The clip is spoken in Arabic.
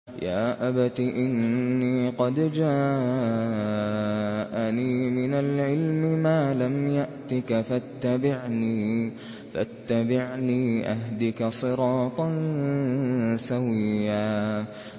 يَا أَبَتِ إِنِّي قَدْ جَاءَنِي مِنَ الْعِلْمِ مَا لَمْ يَأْتِكَ فَاتَّبِعْنِي أَهْدِكَ صِرَاطًا سَوِيًّا